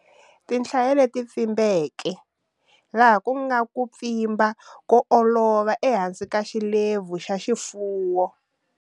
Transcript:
Tinhlaya leti pfimbeke, laha ku nga ku pfimba ko olova ehansi ka xilepfu xa xifuwo.